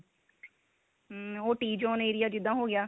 hm ਉਹ tee zone area ਜਿੱਦਾਂ ਹੋ ਗਿਆ